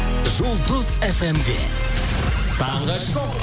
жұлдыз фм де таңғы шоу